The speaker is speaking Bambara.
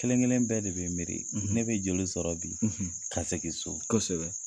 Kelen kelen bɛɛ de bɛ miiri ne bɛ joli sɔrɔ bi ka segin so kosɛbɛ.